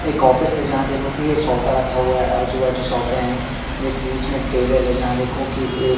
एक ऑफिस है जहाँ देखो कि यह सोफा रखा हुआ है आजू-बाजू सोफे हैं एक बीच में टेबल है जहाँ देखो की एक --